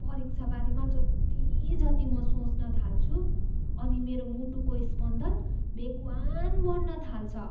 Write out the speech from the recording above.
परिक्षाबारेमा जति जति म सोच्न थाल्छु अनि मेरो मुटुको स्पन्दन बेगवान् बन्न थाल्छ।